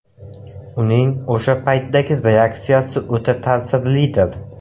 Uning o‘sha paytdagi reaksiyasi o‘ta ta’sirlidir.